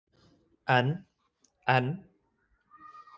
En. en.